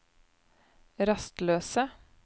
rastløse